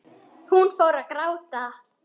Hún fór að gráta.